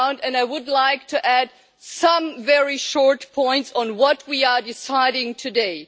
I would like to add some very short points on what we are deciding today.